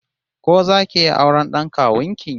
Ko zaki iya auren d'an kawun ki?